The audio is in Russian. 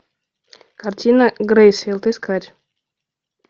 картина грейсфилд искать